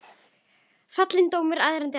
Borðuðu stundum annars staðar.